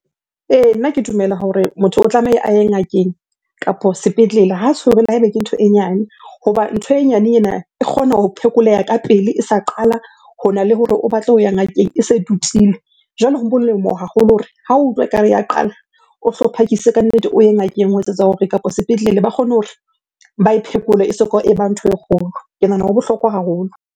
Ee, nna ke dumela hore motho o tlamehile a ye ngakeng kapo sepetlele ha le ha ebe ke ntho e nyane. Hoba ntho e nyane ena e kgona ho phekoleha ka pele e sa qala, hona le hore o batle ho ya ngakeng e se e tutile. Jwale ho molemo haholo hore hao o utlwa ekare ya qala, o hlo phakise kannete o ye ngakeng ho etsetsa hore, kapo sepetlele ba kgone hore ba e phekole e soka e ba ntho e kgolo. Ke nahana ho bohlokwa haholo.